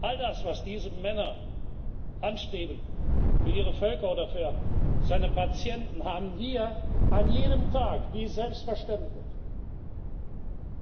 All das, was diese Männer anstreben, für ihre Völker oder für seine Patienten, haben wir an jedem Tag wie selbstverständlich.